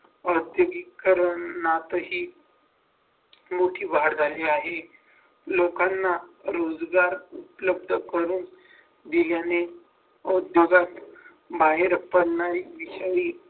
औद्योगिकरणातही मोठी वाढ झाली आहे लोकांना रोजगार उपलब्ध करून दिल्याने उद्योगात